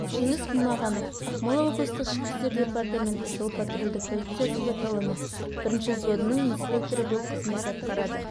жеңіс құлмағанов ақмола облыстық ішкі істер департаменті жол-патрулдік полициясы батальоны бірінші взводының инспекторы болып қызмет атқарады